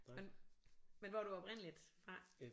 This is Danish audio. Men men hvor er du oprindeligt fra